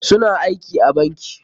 Su na aiki a banki.